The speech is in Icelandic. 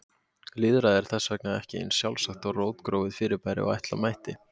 Lýðræði er þess vegna ekki eins sjálfsagt og rótgróið fyrirbæri og ætla mætti.